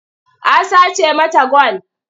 A sace mata gwal.